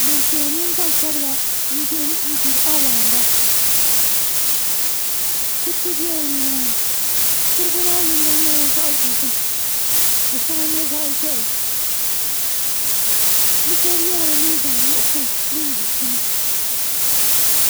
gbanpiɛla mini gbansabila n biɛni n gbiri awaanda kuriti biɛla nimaani kurugu maa yinga nyɛla zaɣ dozim ka shɛŋa nyɛ zaɣ ʒiɛhi bi shab yɛla liiga nuɣsi din di shim